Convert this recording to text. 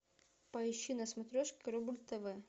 поищи на смотрешке рубль тв